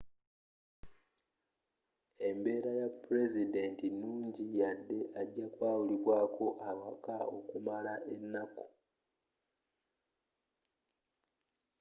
embeera ya pulezidenti nungi yadde aja kwawulibwaako awaka okumala ennaku